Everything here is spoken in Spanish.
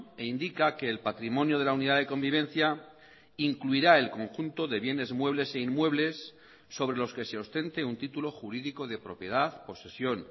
e indica que el patrimonio de la unidad de convivencia incluirá el conjunto de bienes muebles e inmuebles sobre los que se ostente un título jurídico de propiedad posesión